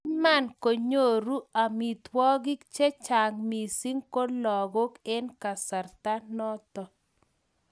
kimakinyoru amitwogik che chang' mising ko logoek eng' kasarta noto